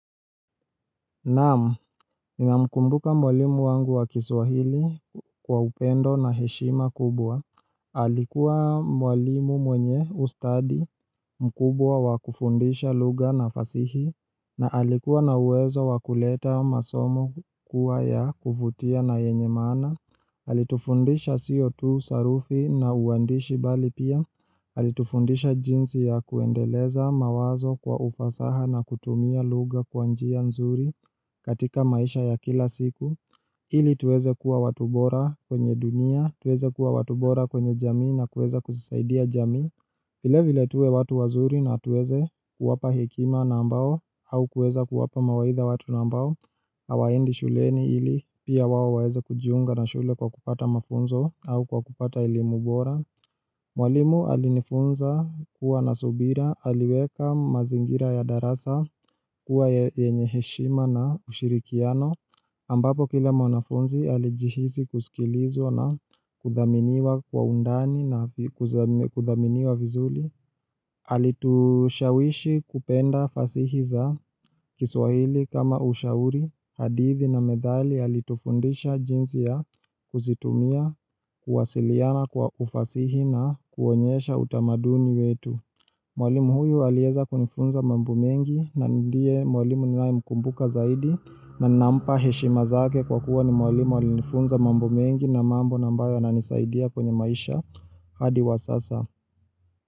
Naam, Ninamkumbuka mwalimu wangu wa kiswahili kwa upendo na heshima kubwa Alikuwa mwalimu mwenye ustadi mkubwa wa kufundisha lugha na fasihi na alikuwa na uwezo wa kuleta masomo kuwa ya kuvutia na yenye maana Alitufundisha siyo tu sarufi na uandishi bali pia Alitufundisha jinsi ya kuendeleza mawazo kwa ufasaha na kutumia lugha kwa njia nzuri katika maisha ya kila siku ili tuweze kuwa watu bora kwenye dunia tuweze kuwa watu bora kwenye jamii na kuweza kuzisaidia jamii Vilevile tuwe watu wazuri na tuweze kuwapa hekima na ambao au kuweza kuwapa mawaitha watu na ambao Hawaendi shuleni ili pia wao waeze kujiunga na shule kwa kupata mafunzo au kwa kupata elimu bora Mwalimu alinifunza kuwa na subira aliweka mazingira ya darasa kuwa yenye heshima na ushirikiano ambapo kila mwanafunzi alijihisi kusikilizwa na kudhaminiwa kwa undani na kudhaminiwa vizuri alitushawishi kupenda fasihi za kiswahili kama ushauri hadithi na methali alitufundisha jinsi ya kuzitumia kuwasiliana kwa ufasihi na kuonyesha utamaduni wetu Mwalimu huyu alieza kunifunza mambo mengi na ndiye mwalimu ninayemkumbuka zaidi na nampa heshima zake kwa kuwa ni mwalimu alinifunza mambo mengi na mambo na ambayo yananisaidia kwenye maisha hadi wa sasa.